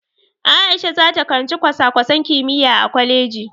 A'isha zata karanci kwasa-kwasan kimiyya a kwaleji.